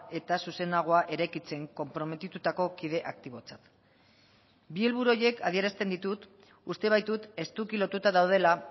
eta zuzenagoa eraikitzen konprometitutako kide aktibotzat bi helburu horiek adierazten ditut uste baitut estuki lotuta daudela